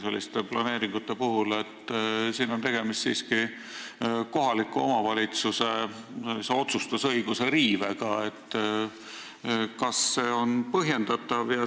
Ja kuna siin on siiski tegemist kohaliku omavalitsuse otsustusõiguse riivega, siis selline põhimõtteline küsimus: kas see on põhjendatav?